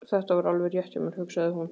Þetta var alveg rétt hjá mér, hugsaði hún.